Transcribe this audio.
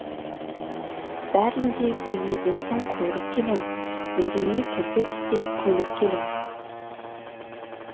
бәрін де өлмеген соң көріп келем үндемей тілді тістеп көніп келем